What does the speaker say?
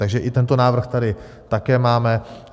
Takže i tento návrh tady také máme.